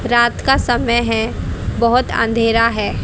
रात का समय है बहोत अंधेरा है।